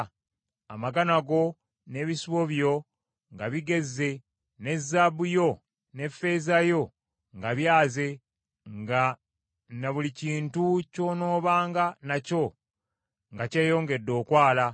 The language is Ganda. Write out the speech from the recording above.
amagana go n’ebisibo byo nga bigezze, ne zaabu yo ne ffeeza yo nga byaze, nga ne buli kintu ky’onoobanga nakyo nga kyeyongedde okwala,